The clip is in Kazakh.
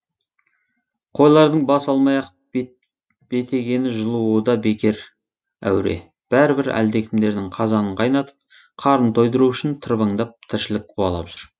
қойлардың бас алмай ақ бетегені жұлуы да бекер әуре бәрібір әлдекімдердің қазанын қайнатып қарнын тойдыру үшін тырбаңдап тіршілік қуалап жүр